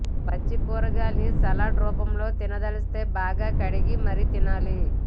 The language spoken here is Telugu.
పచ్చి కూరగాయలని సలాడ్ రూపంలో తినదలిస్తే బాగా కడిగి మరీ తినాలి